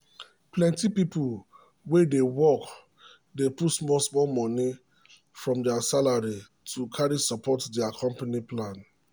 plenty people wey dey work dey put small-small money from their salary to carry support dia company plan.